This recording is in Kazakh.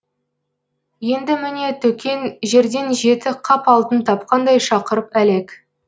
енді міне төкен жерден жеті қап алтын тапқандай шақырып әлек